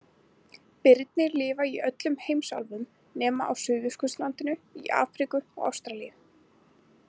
Birnir lifa í öllum heimsálfum nema á Suðurskautslandinu, í Afríku og Ástralíu.